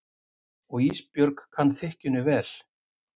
Og Ísbjörg kann þykkjunni vel.